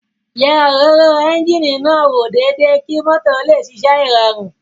Yẹ òróró ẹ́ńjíìnì náà wò déédéé kí mọ́tò ó lè ṣiṣẹ́ ìrọ̀rùn